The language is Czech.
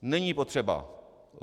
Není potřeba.